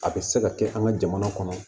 A bɛ se ka kɛ an ka jamana kɔnɔ